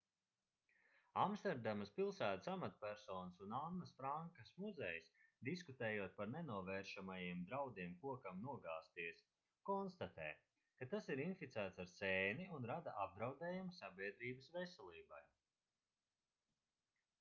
amsterdamas pilsētas amatpersonas un annas frankas muzejs diskutējot par nenovēršamajiem draudiem kokam nogāzties konstatē ka tas ir inficēts ar sēni un rada apdraudējumu sabiedrības veselībai